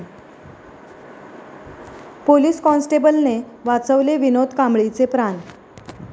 police कॉन्स्टेबलने वाचवले विनोद कांबळीचे प्राण